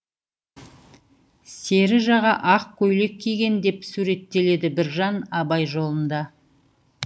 сері жаға ақ көйлек киген деп суреттеледі біржан абай жолында